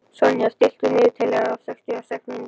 Sonja, stilltu niðurteljara á sextíu og sex mínútur.